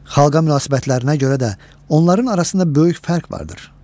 Xalqa münasibətlərinə görə də onların arasında böyük fərq vardır.